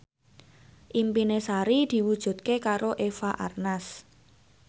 impine Sari diwujudke karo Eva Arnaz